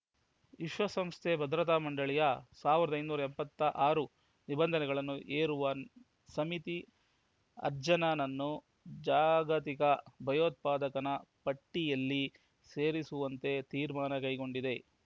ವಿಶ್ವಸಂಸ್ಥೆ ಭದ್ರತಾ ಮಂಡಳಿಯ ಸಾವಿರದ ಇನ್ನೂರ ಎಪ್ಪತ್ತಾ ಆರು ನಿರ್ಬಂಧಗಳನ್ನು ಹೇರುವ ಸಮಿತಿ ಅಜರ್‌ನನ್ನು ಜಾಗತಿಕ ಭಯೋತ್ಪಾದಕನ ಪಟ್ಟಿಯಲ್ಲಿ ಸೇರಿಸುವಂತೆ ತೀರ್ಮಾನ ಕೈಗೊಂಡಿದೆ